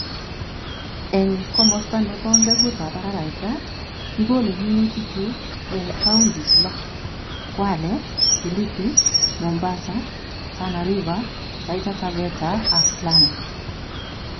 eng' komosta nebo ngeguutap araraita, kigolei minutik chu eng' kaundis lo: Kwale, Kilifi, Mombasa, Tana River, Taita Taveta ak Lamu.